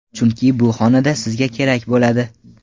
Chunki bu xonada sizga kerak bo‘ladi.